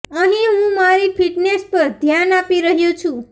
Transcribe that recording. અંહીં હું મારી ફિટનેસ પર ધ્યાન આપી રહ્યો છું